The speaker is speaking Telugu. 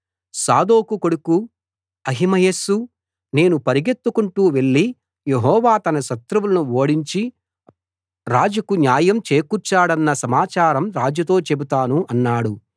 సాదోకు కొడుకు అహిమయస్సు నేను పరుగెత్తుకుంటూ వెళ్ళి యెహోవా తన శత్రువులను ఓడించి రాజుకు న్యాయం చేకూర్చాడన్న సమాచారం రాజుతో చెబుతాను అన్నాడు